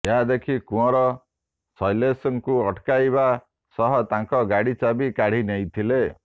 ଏହା ଦେଖି କୁଅଁର ଶୈଲେଶଙ୍କୁ ଅଟକାଇବା ସହ ତାଙ୍କ ଗାଡ଼ି ଚାବି କାଢ଼ି ନେଇଥିଲେ